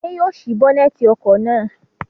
Adé yóò ṣí bónẹ́tì ọkọ̀ náà.